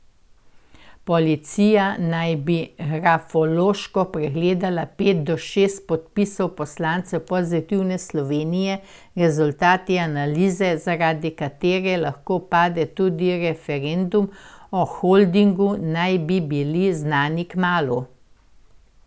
Policija naj bi grafološko pregledala pet do šest podpisov poslancev Pozitivne Slovenije, rezultati analize, zaradi katere lahko pade tudi referendum o holdingu, naj bi bili znani kmalu.